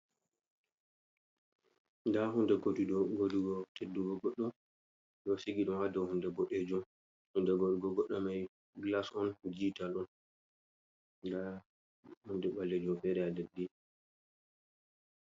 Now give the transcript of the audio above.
Nda hunde godugo teddugo goɗɗo ɗo sigi ɗum hado hunde bodejum hunde godugo goɗɗo mai glas on dijital don nda hunde ɓalejum fere a leddi.